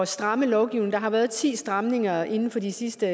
stramme lovgivningen der har været ti stramninger inden for de sidste